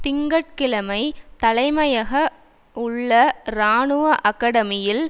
திங்க கிழமை தலைமையக உள்ள இராணுவ அகடமியில்